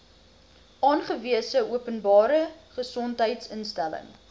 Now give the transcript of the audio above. aangewese openbare gesondheidsinstelling